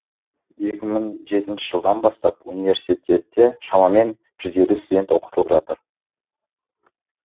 екі мың жетінші жылдан бастап университетте шамамен студент оқытылып жатыр